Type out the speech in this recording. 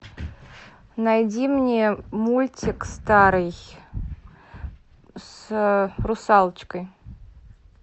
найди мне мультик старый с русалочкой